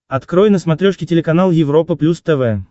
открой на смотрешке телеканал европа плюс тв